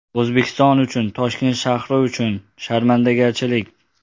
O‘zbekiston uchun, Toshkent shahri uchun... Sharmandagarchilik.